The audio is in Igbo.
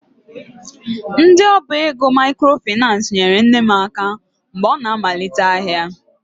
Ndị ọba ego microfinace nyere nne m aka mgbe ọ na-amalite ahịa.